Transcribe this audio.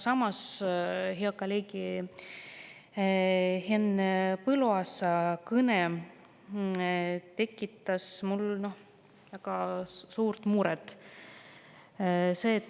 Aga hea kolleegi Henn Põlluaasa kõne tekitas väga suurt muret.